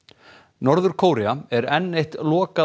norður Kórea er enn eitt